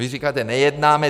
Vy říkáte, nejednáme.